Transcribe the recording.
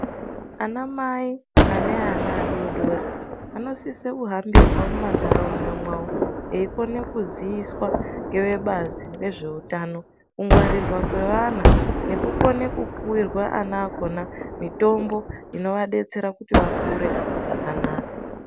Anamai aneana adori dori ,anosise kuhambirwa mumandaraunda mwawo ,eyikone kuziiswa ngevebazi rezvehutano. Kungwarirwa kwevana nekukone kubhuyirwa ana akona mitombo inovadetsera kuti vakure zvakanaka.